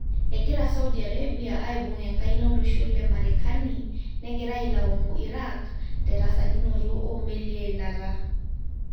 Egira Saudi A rebia aibung enkaina olosho le marekani negira ailaumu Irak terasakinoto omelii eilata.